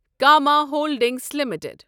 Cama holdings limited